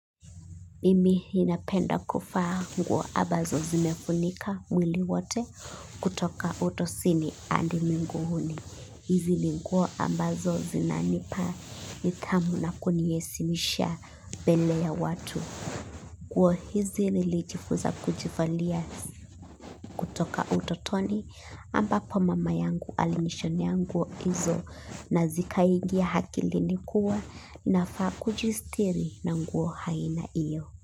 Mimi ninapenda kuvaa nguo ambazo zimefunika mwili wote kutoka utosini hadi miguuni. Hizi ni nguo ambazo zinanipa nidhamu na kuniheshimisha mbele ya watu. Nguo hizi nilijifunza kujivalia kutoka utotoni ambapo mama yangu alinishonea nguo hizo na zikaingia akilini kuwa nafaa kujistiri na nguo aina hiyo.